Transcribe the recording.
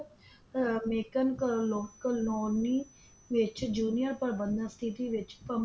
ਅਹ ਮੇਕਨ ਕਲੋ ਕਲੋਨੀ ਵਿੱਚ Junior ਪ੍ਰਬੰਧਕ City ਵਿੱਚ